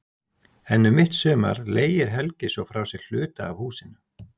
En um mitt sumar leigir Helgi svo frá sér hluta af húsinu.